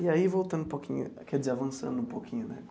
E aí, voltando um pouquinho, quer dizer, avançando um pouquinho, né?